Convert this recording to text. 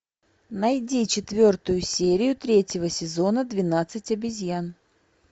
найди четвертую серию третьего сезона двенадцать обезьян